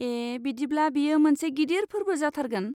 ए, बिदिब्ला बेयो मोनसे गिदिर फोरबो जाथारगोन।